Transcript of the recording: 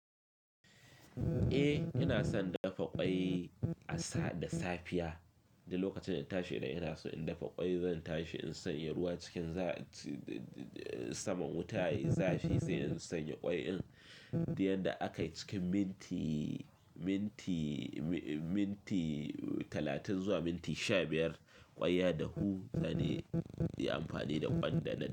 Eh, ina son dafa ƙwai a sa da safiya. Da lokacin da na tashi ina so in dafa ƙwai, zan tashi in sanya ruwa cikin za saman wuta ya yi zafi, sai in sanya ƙwai in. Duk yadda aka yi cikin minti, minti, minti talatin zuwa minti sha biyar, ƙwai ya dahu zani yi amfani da ƙwan da dana.